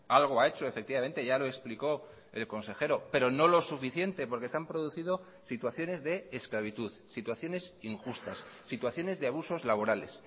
algo ha hecho efectivamente ya lo explicó el consejero pero no lo suficiente porque se han producido situaciones de esclavitud situaciones injustas situaciones de abusos laborales